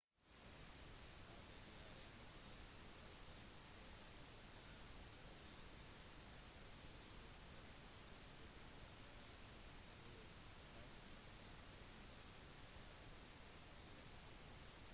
hadde de allierte sviktet ville tyskland trolig ha klart å erobre storbritannia på samme måte som resten av europa